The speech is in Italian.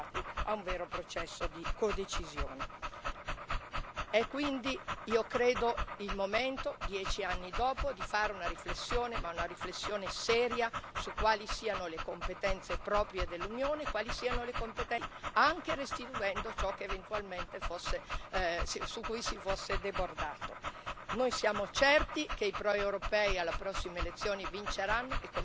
E quindi io credo sia il momento, dieci anni dopo, di fare una riflessione, ma una riflessione seria, su quali siano le competenze proprie dell'Unione e su quali siano le competenze che devono restare agli Stati, anche restituendo ciò su cui si fosse eventualmente debordato. Noi siamo certi che i proeuropei alle prossime elezioni vinceranno e, come dicevo, la sfida la cogliamo, la porteremo avanti e la vinceremo.